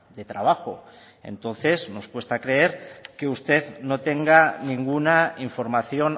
de trabajo entonces nos cuesta creer que usted no tenga ninguna información